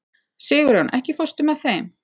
Sigurjón, ekki fórstu með þeim?